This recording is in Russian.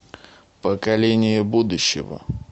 поколение будущего